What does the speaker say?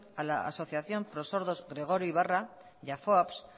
a la asociación prosordos gregorio ybarra y a foaps